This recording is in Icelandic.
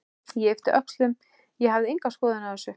Ég yppti öxlum, ég hafði enga skoðun á þessu.